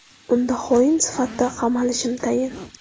Unda xoin sifatida qamalishim tayin.